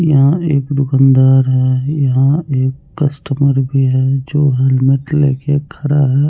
यहाँ एक दुकनदार है यहाँ एक कस्टमर भी है जो हेलमेट लेके खरा है।